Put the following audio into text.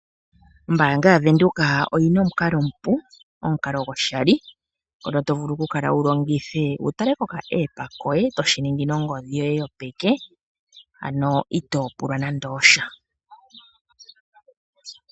Ombaanga yaWindhoek oyina omukalo omupu, omukalo goshali ngono tovulu oku kala wu longithe wutale kombaanga yoye to shiningi nongodhi yoye yopeke ano itoo pulwa nande osha.